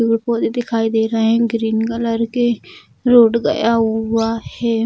पेड़-पौधे दिखाई दे रहे हैं ग्रीन कलर के रोड़ गया हुआ है।